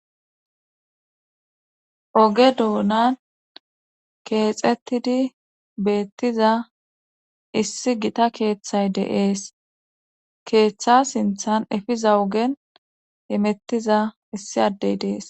oge doonan keexettidi beettiza issi gita keeththay deees keeththa sinthan efiza ogen emettiza issi addey deees